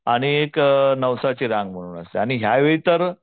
आणि एक नवसाची रांग म्हणून पण असते आणि यावेळी तर